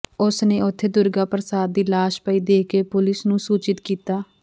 ਉਸ ਨੇ ਉਥੇ ਦੁਰਗਾ ਪ੍ਰਸਾਦ ਦੀ ਲਾਸ਼ ਪਈ ਦੇਖ ਕੇ ਪੁਲੀਸ ਨੂੰ ਸੂਚਿਤ ਕੀਤਾ